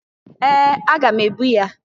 Ee! Aga m ebu ya.